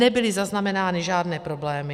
Nebyly zaznamenány žádné problémy.